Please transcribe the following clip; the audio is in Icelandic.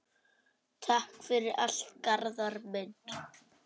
Takk fyrir allt, Garðar minn.